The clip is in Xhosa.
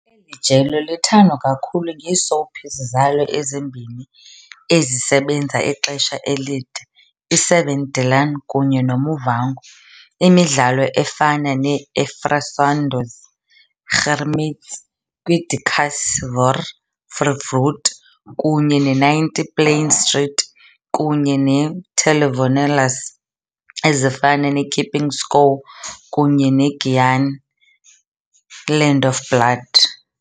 Eli jelo lithandwa kakhulu ngee-soapies zalo ezimbini ezisebenza ixesha elide i-7de Laan kunye no Muvhango, imidlalo efana ne-Erfsonders, Gerramtes kwi-die Kas, Roer Jou Voete kunye ne-90 Plein Street, kunye ne-Telenovelas ezifana ne-Keeping Score kunye neGiyani- Land of Blood.